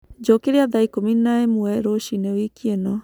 Njũkĩrĩa thaa ĩkũmi na ĩmwe rũciini wĩkĩ ino